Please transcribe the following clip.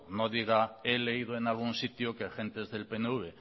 no diga he leído en algún sitio que gentes del pnv